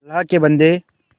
अल्लाह के बन्दे